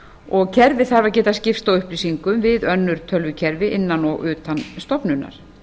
og kerfið þarf að geta skipst á upplýsingum við önnur tölvukerfi innan og utan stofnunar